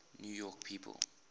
new york people